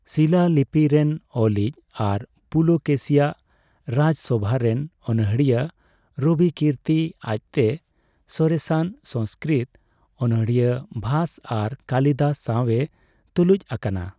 ᱥᱤᱞᱟᱞᱤᱯᱤ ᱨᱮᱱ ᱚᱞᱤᱡ ᱟᱨ ᱯᱩᱞᱚᱠᱮᱥᱤᱭᱟᱜ ᱨᱟᱡᱽᱥᱚᱵᱷᱟ ᱨᱮᱱ ᱚᱱᱚᱬᱦᱤᱭᱟᱹ ᱨᱚᱵᱤᱠᱤᱨᱛᱤ ᱟᱡᱽᱛᱮ ᱥᱚᱨᱮᱥᱟᱱ ᱥᱚᱝᱥᱠᱨᱤᱛ ᱚᱱᱚᱬᱦᱤᱭᱟᱹ ᱵᱷᱟᱥ ᱟᱨ ᱠᱟᱞᱤᱫᱟᱥ ᱥᱟᱣᱮ ᱛᱩᱞᱩᱡᱽ ᱟᱠᱟᱱᱟ ᱾